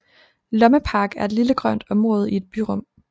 Lommepark er et lille grønt område i et byrum